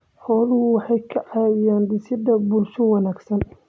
Xooluhu waxay ka caawiyaan dhisidda bulsho wanaagsan.